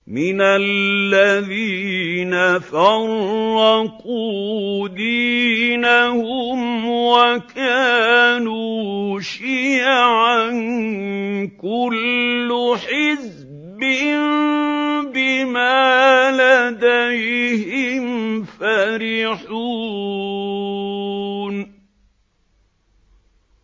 مِنَ الَّذِينَ فَرَّقُوا دِينَهُمْ وَكَانُوا شِيَعًا ۖ كُلُّ حِزْبٍ بِمَا لَدَيْهِمْ فَرِحُونَ